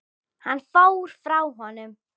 Hann fór frá honum.